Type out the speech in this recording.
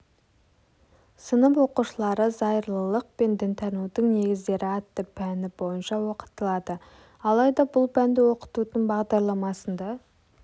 сынып оқушылары зайырлылық пен дінтанудың негіздері атты пәні бойынша оқытылады алайда бұл пәнді оқытудың бағдарламасында